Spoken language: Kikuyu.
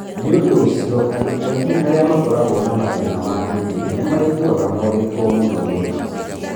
Nĩ ũndũ ũcio, andũ aingĩ arĩa makoragwo na mathĩna ma kĩĩmwĩrĩ nĩ maiguaga morĩtwo nĩ ũndũ ũcio.